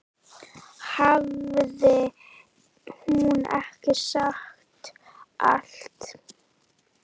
Hafði hún ekki sagt allt?